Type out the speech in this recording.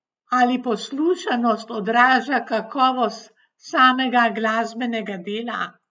Ali poslušanost odraža kakovost samega glasbenega dela?